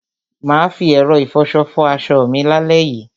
Mà á fi ẹ̀rọ ìfọṣọ fọ aṣọ mi lálẹ́ yìí.